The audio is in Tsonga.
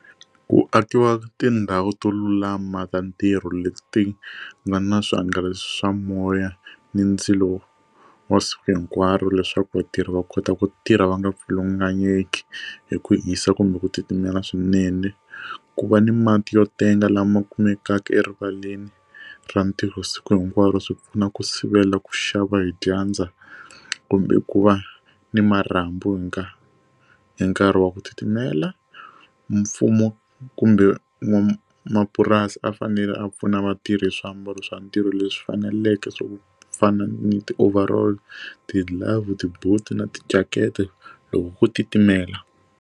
Ku akiwa tindhawu to lulama ta ntirho leti nga na swihangalasi swa moya ni ndzilo wa siku hinkwaro leswaku vatirhi va kota ku tirha va nga pfulunganyeka hi ku hisa kumbe ku titimela swinene ku va ni mati yo tenga lama kumekaka erivaleni ra ntirho siku hinkwaro swi pfuna ku sivela ku xava hi dyandza kumbe ku va ni marhambu urhunga hi nkarhi wa ku titimela mfumo kumbe n'wamapurasi a fanele a pfuna vatirhi swiambalo swa ntirho leswi faneleke swo ku fana ni ti overall ti glove ti boot na jacket loko ku titimela.